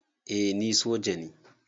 Eh ni soja ne